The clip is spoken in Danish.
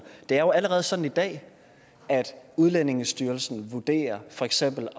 det er jo allerede sådan i dag at udlændingestyrelsen for eksempel